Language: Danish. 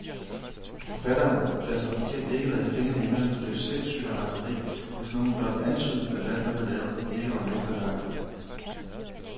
Forfatteren, der som bekendt ikke lagde fingrene imellem, blev sindssyg af raseri, hvis nogen blot antydede, at alt, hvad han lavede, ikke var mesterværker.